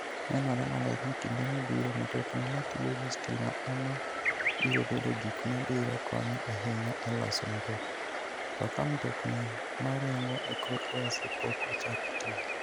Nenore maler ni kinde mabiro, mtokni matiyo gi stima ema biro bedo gik ma biro konyo ahinya e loso mtokni - to ka mtokni ma ringo e kor lwasi pok ochako tiyo.